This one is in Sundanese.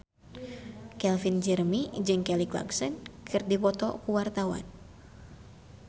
Calvin Jeremy jeung Kelly Clarkson keur dipoto ku wartawan